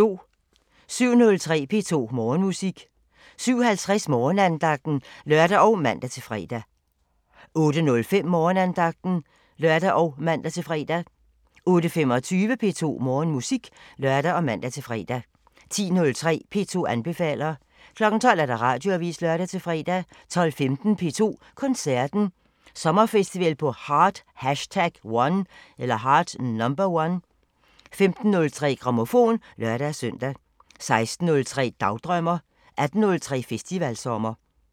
07:03: P2 Morgenmusik 07:50: Morgensangen (lør og man-fre) 08:05: Morgenandagten (lør og man-fre) 08:25: P2 Morgenmusik (lør og man-fre) 10:03: P2 anbefaler 12:00: Radioavisen (lør-fre) 12:15: P2 Koncerten – Sommerfestival på Heart #1 15:03: Grammofon (lør-søn) 16:03: Dagdrømmer 18:03: Festivalsommer